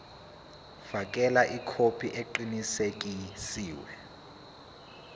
fakela ikhophi eqinisekisiwe